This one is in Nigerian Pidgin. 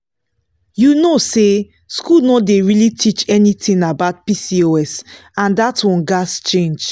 you know say school no dey really teach anything about pcos and that one gats change.